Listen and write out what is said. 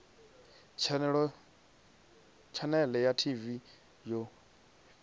tshanele ya tv yo fhiwaho